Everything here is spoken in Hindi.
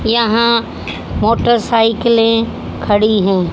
यहां मोटरसाइकिलें खड़ी हैं।